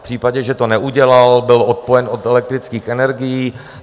V případě, že to neudělal, byl odpojen od elektrických energií.